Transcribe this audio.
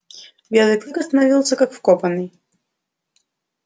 белый клык остановился как вкопанный